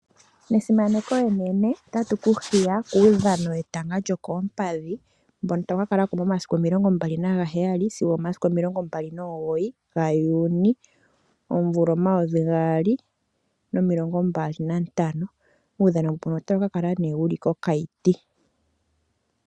Nesimaneko enene otatu ku hiya kuudhano wetanga lyokoompadhi, mbono tawu kakala ko momasiku 27_29 Juni 2025 nuudhano mbuno otawu kakala kOkayiti.